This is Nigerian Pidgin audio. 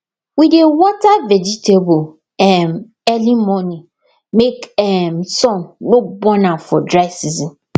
we dey water vegetable um early morning make um sun no burn am for dry season